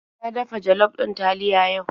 Na dafa jollof ɗin taliya yau.